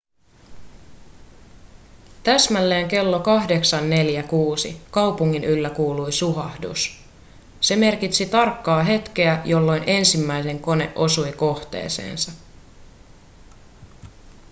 täsmälleen kello 08.46 kaupungin yllä kuului suhahdus se merkitsi tarkkaa hetkeä jolloin ensimmäinen kone osui kohteeseensa